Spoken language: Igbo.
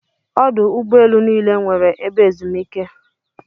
Ọdụ ụgbọ elu niile nweere ebe ezumike.